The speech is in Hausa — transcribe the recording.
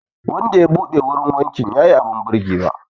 Wanda ya buɗe wurin wankin ya yi abin birgewa